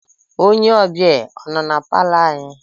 Onye ọbịa a nọ na palọ anyị?